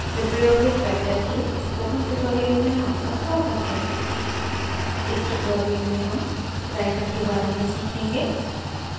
Libre office writer के spoken tutorial में आपका स्वागत है – इस tutorial में हम writer के बारे में सीखेंगे